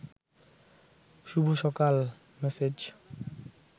শুভ সকাল মেসেজ